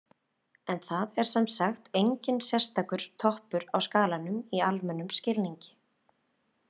En það er sem sagt enginn sérstakur toppur á skalanum í almennum skilningi.